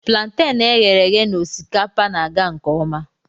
Plantain e ghere eghe na osikapa na-aga nke ọma